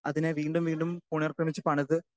speaker 2 അതിനെ വീണ്ടും വീണ്ടും പുനക്രെമിച്ചു പണിത്